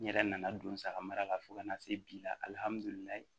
N yɛrɛ nana don n saga mara la fo ka na se bi la alihamudulilayi